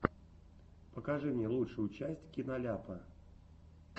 покажи мне лучшую часть киноляпа